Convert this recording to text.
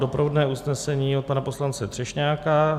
Doprovodné usnesení od pana poslance Třešňáka.